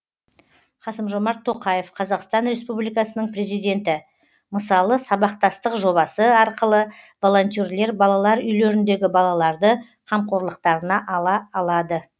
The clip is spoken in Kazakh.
қасым жомарт тоқаев қазақстан республикасының президенті мысалы сабақтастық жобасы арқылы волонтерлер балалар үйлеріндегі балаларды қамқорлықтарына ала алады